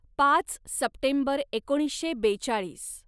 पाच सप्टेंबर एकोणीसशे बेचाळीस